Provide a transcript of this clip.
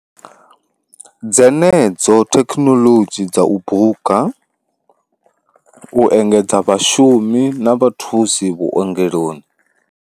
Dzenedzo thekhinoḽodzhi dza u buka, u engedza vhashumi na vha thusi vhuongeloni.